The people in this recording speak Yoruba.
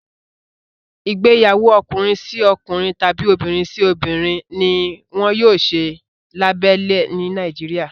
Igbeyawo Ọkùnrin sí ọkùnrin tàbi obìrin sí obìrin, ní wón yóò ṣe labélẹ ni Nàìjíríà